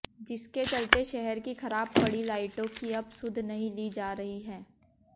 जिसके चलते शहर की खराब पड़ी लाइटों की अब सुध नहीं ली जा रही है